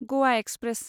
Goa express